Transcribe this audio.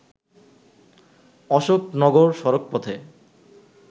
অশোকনগর সড়ক পথে